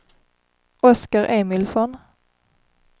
Oskar Emilsson